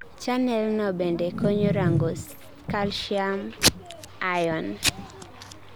channelno bende konyo rango Ca2+